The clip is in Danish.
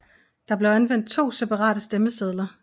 Der blev anvendt 2 separate stemmesedler